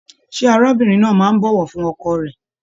Ṣe arábìnrin náà máa n bọwọ fún ọkọ rẹ?